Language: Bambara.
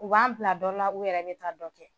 U b'an bila dɔ la,u yɛrɛ bɛ wuli ka bɔ oôdɔ kɔ